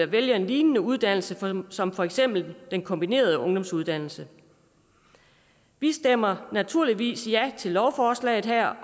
vælger en lignende uddannelse som for eksempel den kombinerede ungdomsuddannelse vi stemmer naturligvis ja til lovforslaget her